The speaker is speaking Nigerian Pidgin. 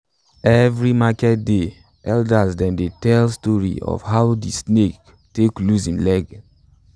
every market day elders dem dey tell de story of how de snake take lose im legs